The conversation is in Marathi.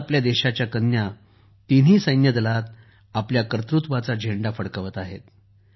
आज आपल्या देशाच्या कन्या तिन्ही सैन्यदलात आपल्या कर्तृत्वाचा झेंडा फडकवत आहेत